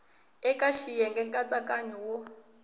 eka xiyenge xa nkatsakanyo wo